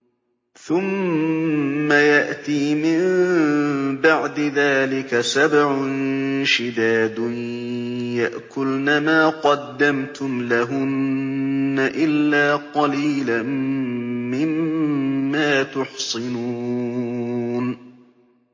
ثُمَّ يَأْتِي مِن بَعْدِ ذَٰلِكَ سَبْعٌ شِدَادٌ يَأْكُلْنَ مَا قَدَّمْتُمْ لَهُنَّ إِلَّا قَلِيلًا مِّمَّا تُحْصِنُونَ